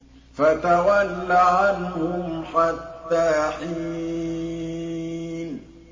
فَتَوَلَّ عَنْهُمْ حَتَّىٰ حِينٍ